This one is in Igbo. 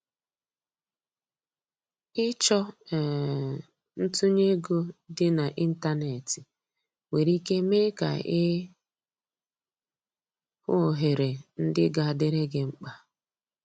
Ịchọ um ntunye ego dị na ịntanetị nwere ike mee ka i hụ ohere ndị ga adịrị gi mkpa.